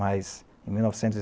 Mas, em mil novecentos e